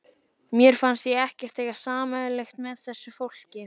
Mér fannst ég ekkert eiga sameiginlegt með þessu fólki.